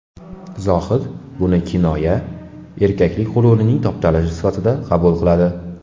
Zohid buni kinoya, erkaklik g‘ururining toptalishi sifatida qabul qiladi.